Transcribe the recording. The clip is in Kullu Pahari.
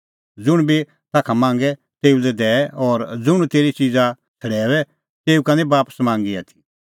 ज़ुंण बी ताखा मांगे तेऊ लै दैऐ और ज़ुंण तेरी च़िज़ा छ़ड़ैऊऐ तेऊ का निं बापस मांगी आथी